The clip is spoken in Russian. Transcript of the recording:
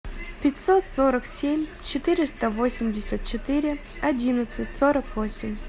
пятьсот сорок семь четыреста восемьдесят четыре одиннадцать сорок восемь